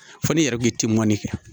Fɔ n'i yɛrɛ b'i timinan kɛ